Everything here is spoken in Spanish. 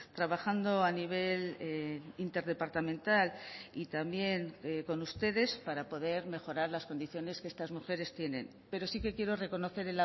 trabajando a nivel interdepartamental y también con ustedes para poder mejorar las condiciones que estas mujeres tienen pero sí que quiero reconocer